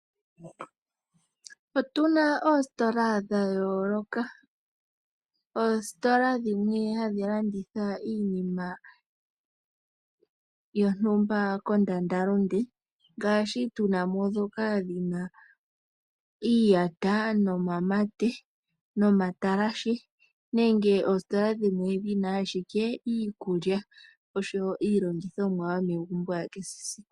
Otu na oositola dha yooloka. Oositola dhimwe hadhi landitha iinima yontumba kondandalunde ngaashi tuna mo ndhoka dhi na iiyata nomamate nomatalashe nenge oositola dhimwe dhi na iikulya oshowo iilongithomwa ya kehe esiku.